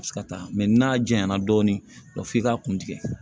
Ka taa n'a janyana dɔɔnin f'i k'a kun tigɛ